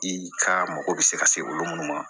I ka mago bɛ se ka se olu ma